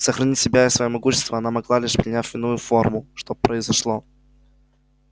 сохранить себя и своё могущество она могла лишь приняв иную форму что произошло